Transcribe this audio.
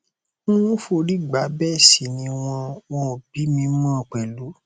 n ò forí gbá bẹẹ sì ni wọn wọn ò bí i mọ mi pẹlú